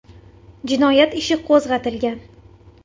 Jinoyat ishi qo‘zg‘atilgan.